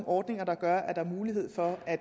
ordninger der gør at der er mulighed for at